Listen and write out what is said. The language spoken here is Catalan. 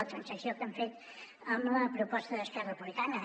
la transacció que han fet amb la proposta d’esquerra republicana